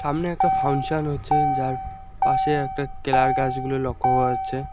সামনে একটা ফাংশন হচ্ছে যার পাশে একটা কেলার গাছগুলি লক্ষ্য করা হচ্ছে।